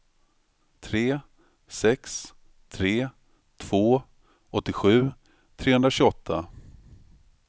tre sex tre två åttiosju trehundratjugoåtta